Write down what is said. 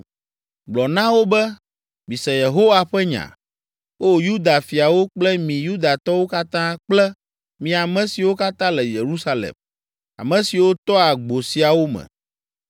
Gblɔ na wo be, ‘Mise Yehowa ƒe nya, O Yuda fiawo kple mi Yudatɔwo katã kple mi ame siwo katã le Yerusalem, ame siwo toa agbo siawo me.’